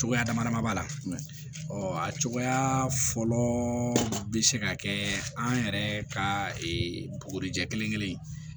Cogoya dama dama b'a la ɔ a cogoya fɔlɔ bɛ se ka kɛ an yɛrɛ ka bugurijɛ kelen kelen